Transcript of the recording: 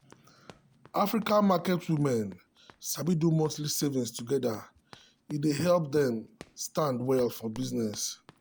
african market women sabi do monthly savings together e dey help dem stand well for business.